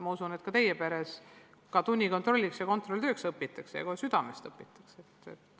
Ma usun, et teiegi pere lapsed õpivad ka tunnikontrolliks või suuremaks kontrolltööks, ja õpivad kohe südamest.